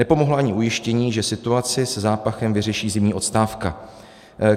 Nepomohla ani ujištění, že situaci se zápachem vyřeší zimní odstávka.